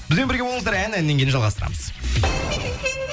бізбен бірге болыңыздар ән әннен кейін жалғастырамыз